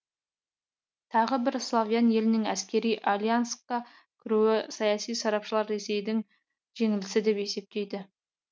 тағы бір славян елінің әскери альянсқа кіруін саяси сарапшылар ресейдің жеңілісі деп есептейді